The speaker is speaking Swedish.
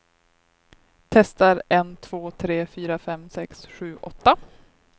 Testar en två tre fyra fem sex sju åtta.